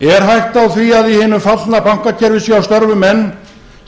er hætta á því í hinum fallna bankakerfi séu að störfum menn